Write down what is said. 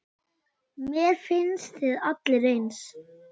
Mér finnst þið allir eins.